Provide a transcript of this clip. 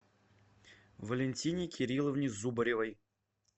валентине кирилловне зубаревой